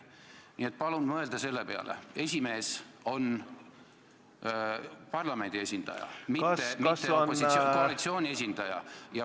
Nii et palun mõelda selle peale, et esimees on parlamendi esindaja, mitte koalitsiooni esindaja.